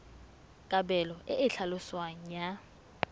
kabelo e e tlhaloswang ya